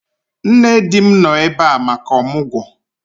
Nne di m nọ ebe a maka ọmụgwọ